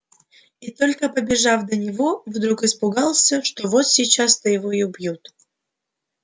и только побежав до него вдруг испугался что вот сейчас-то его и убьют